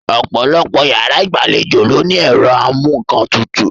Ọ̀pọ̀lọpọ̀ yàrá ìgbàlejò ló ní ẹ̀rọ amú-ńkan-tutù